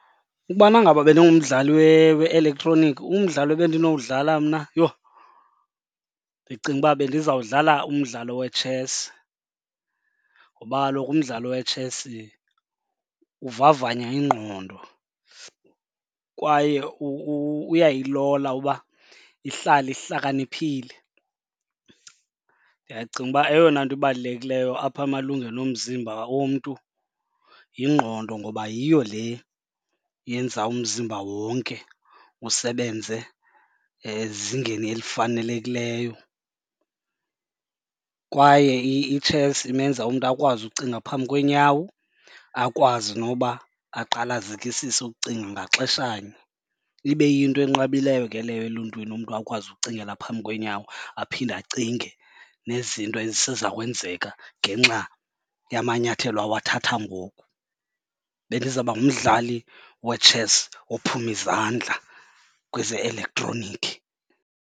Ukubana ngaba bendingumdlali we-elektroniki umdlalo ebendinowudlala mna yho, ndicinga uba bendizawudlala umdlalo wetshesi ngoba kaloku umdlalo wetshesi uvavanya ingqondo kwaye uyayilola uba ihlale ihlakaniphile. Ndiyacinga uba eyona nto ibalulekileyo apha amalungelo omzimba womntu yingqondo ngoba yiyo le yenza umzimba wonke usebenze ezingeni elifanelekileyo kwaye itshesi imenza umntu akwazi ukucinga phambi kweenyawo, akwazi noba aqale azikisise ukucinga ngaxeshanye. Ibe yinto enqabileyo ke leyo eluntwini umntu akwazi ukucingela phambi kweenyawo aphinde acinge nezinto eziseza kwenzeka ngenxa yamanyathelo awathatha ngoku. Bendizawuba ngumdlali wetshesi ophume izandla kweze-elektroniki.